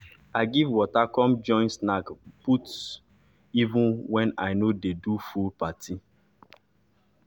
i give water come join snack put even wen i nor de do full party